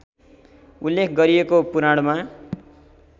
उल्लेख गरिएको पुराणमा